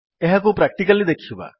ଏହାକୁ ପ୍ରାକ୍ଟିକାଲି ଦେଖିବା